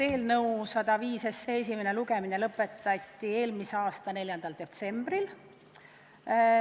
Eelnõu 105 esimene lugemine lõpetati eelmise aasta 4. detsembril.